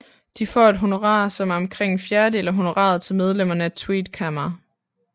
De får et honorar som er omkring en fjerdedel af honoraret til medlemmerne af Tweede Kamer